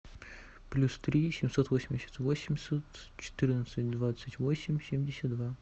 плюс три семьсот восемьдесят восемь четырнадцать двадцать восемь семьдесят два